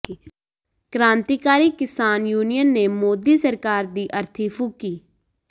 ਕ੍ਰਾਂਤੀਕਾਰੀ ਕਿਸਾਨ ਯੂਨੀਅਨ ਨੇ ਮੋਦੀ ਸਰਕਾਰ ਦੀ ਅਰਥੀ ਫੂਕੀ